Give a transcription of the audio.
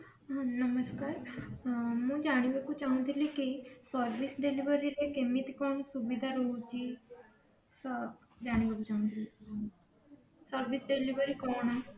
ହଁ ନମସ୍କାର ଉଁ ମୁଁ ଜାଣିବାକୁ ଚାହୁଁ ଥିଲି କି service delivery ରେ କେମିତି କଣ ସୁବିଧା ରହୁଛି ତ ଜାଣିବାକୁ ଚାହୁଁଥିଲି service delivery କଣ